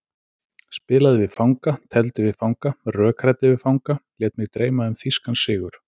Spilaði við fanga, tefldi við fanga, rökræddi við fanga, lét mig dreyma um þýskan sigur.